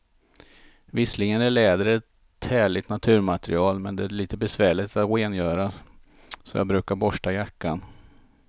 Visserligen är läder ett härligt naturmaterial, men det är lite besvärligt att rengöra, så jag brukar borsta jackan.